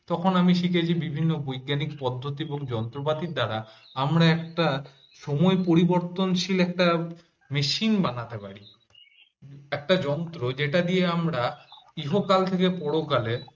তখন আমি শিখেছি বিভিন্ন বৈজ্ঞানিক পদ্ধতি এবং যন্ত্রপাতির দ্বারা আমরা একটা সময় পরিবর্তনশীল একটা মেশিন বানাতে পারি। একটা যন্ত্র যেটা দিয়ে আমরা ইহকাল থেকে পরকালে